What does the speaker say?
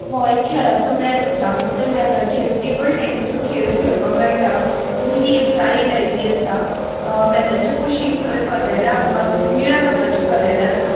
वो एक खेळाचो मेज आसा त्या मेजाचेर टेबल टेनिस हो खेळ खेळपाक मेळटा मदी एक झाळी लायल्ली आसा मेजाच्या कुशीन थोड़ी कदेला आमका निळ्या रंगाची कदेला आसा.